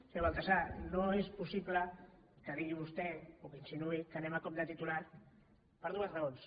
senyor baltasar no és possible que digui vostè o que insinuï que anem a cop de titular per dues raons